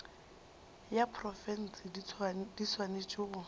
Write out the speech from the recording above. ya profense di swanetše go